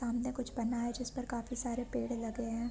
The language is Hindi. सामने कुछ बना है जिस पर काफी सारे पेड़ लगे है।